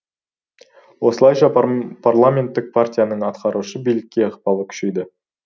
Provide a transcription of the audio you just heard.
осылайша парламенттік партияның атқарушы билікке ықпалы күшейді